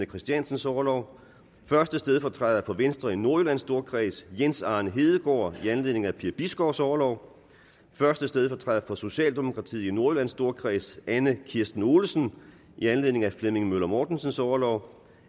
christiansens orlov første stedfortræder for venstre i nordjyllands storkreds jens arne hedegaard i anledning af per bisgaards orlov første stedfortræder for socialdemokratiet i nordjyllands storkreds anna kirsten olesen i anledning af flemming møller mortensens orlov